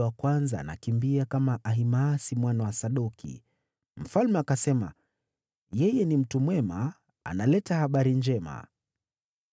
Mlinzi akasema, “Ninaona kuwa yule wa kwanza anakimbia kama Ahimaasi mwana wa Sadoki.” Mfalme akasema, “Yeye ni mtu mwema. Analeta habari njema.”